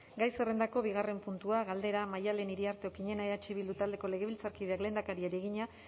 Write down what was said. gai zerrendako bigarren puntua galdera maddalen iriarte okiñena eh bildu taldeko legebiltzarkideak lehendakariari egina